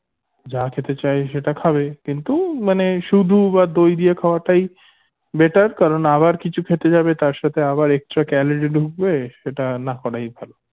যা খেতে চায় সেটা খাবে কিন্তু মানে শুধু দই দিয়ে খাওয়াটাই better কারণ আবার কিছু খেতে যাবে তার সাথে আবার extra calorie ঢুকবে সেটা না করাই ভালো